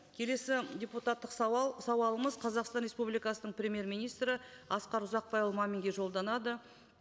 келесі депутаттық сауал сауалымыз қазақстан республикасының премьер министрі асқар ұзақбайұлы маминге жолданады